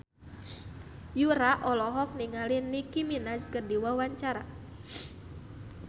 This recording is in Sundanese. Yura olohok ningali Nicky Minaj keur diwawancara